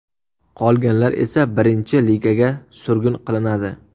Qolganlar esa Birinchi Ligaga surgun qilinadi.